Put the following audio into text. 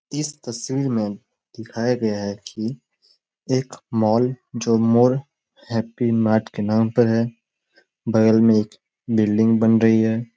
इस तस्वीर में दिखाया गया है कि एक मॉल जो मोर हैप्पी मार्ट पर नाम पर है। बगल में एक बिल्डिंग बन रही है।